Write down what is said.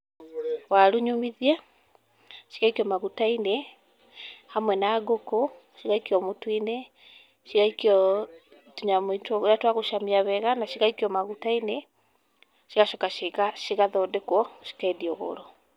Waru nyũmithie, cigaikio maguta-inĩ hamwe na ngũkũ, cigaikio mũtu-inĩ, cigaikio tũnyamũ tũrĩa twa gũcamia wega na cigaikio maguta-inĩ, cigacoka ciga cigathondekwo, cikendio goro.